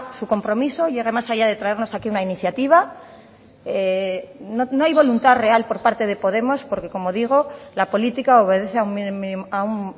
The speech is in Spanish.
su compromiso llegue más allá de traernos aquí una iniciativa no hay voluntad real por parte de podemos porque como digo la política obedece a un